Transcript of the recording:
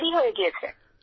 সবারই হয়ে গিয়েছে